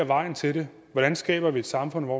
vejen til det hvordan skaber vi et samfund hvor